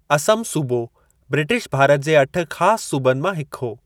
असम सूबो ब्रिटिश भारत जे अठ ख़ास सूबनि मां हिकु हो।